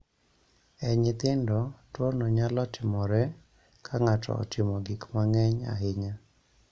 E nyithindo, tuono nyalo timore ka ng�ato otimo gik mang�eny ahinya.